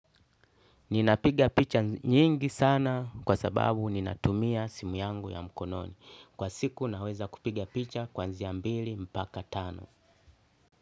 Ninapiga picha nyingi sana kwa sababu ninatumia simu yangu ya mkononi. Kwa siku naweza kupiga picha kuanzia mbili mpaka tano.